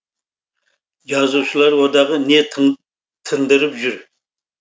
жазушылар одағы не тындырып жүр